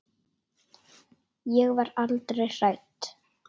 Ég var aldrei hrædd.